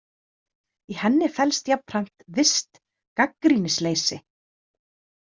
Í henni felst jafnframt visst gagnrýnisleysi.